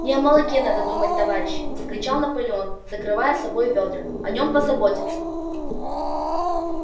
не о молоке надо думать товарищи вскричал наполеон закрывая собой вёдра о нём позаботятся